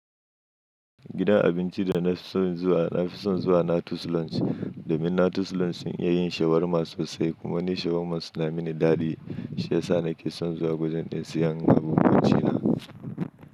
Gidan abinci da na fi son zuwa, na fi son zuwa Natas Lounge domin Natas Lounge sun iya yin shawarma sosai kuma ni shawarma suna mini daɗi. Shi ya sa na ke son zuwa gurin ɗin siyan abincin na.